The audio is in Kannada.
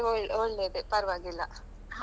ಹ ಹಾಗಾದ್ರೆ ಒಳ್ಳೆ ಒಳ್ಳೇದೆ ಪರ್ವಾಗಿಲ್ಲ.